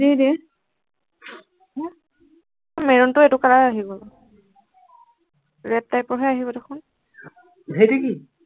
দি দে maroon টো এইটো color আহিব, red-type ৰ হে আহিব দেখোন,